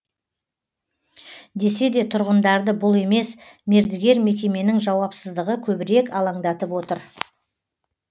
десе де тұрғындарды бұл емес мердігер мекеменің жауапсыздығы көбірек алаңдатып отыр